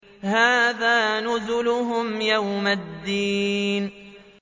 هَٰذَا نُزُلُهُمْ يَوْمَ الدِّينِ